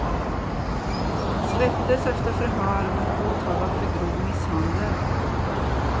Han släpptes efter förhör men är åtalad för grov misshandel.